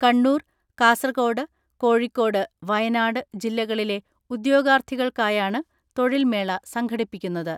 കണ്ണൂർ, കാസർക്കോട്, കോഴിക്കോട്, വയനാട് ജില്ലകളിലെ ഉദ്യോ ഗാർത്ഥികൾക്കായാണ് തൊഴിൽ മേള സംഘടിപ്പിക്കുന്നത്.